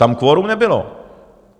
Tam kvorum nebylo!